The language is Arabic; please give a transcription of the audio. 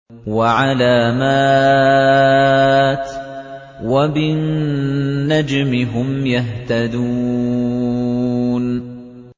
وَعَلَامَاتٍ ۚ وَبِالنَّجْمِ هُمْ يَهْتَدُونَ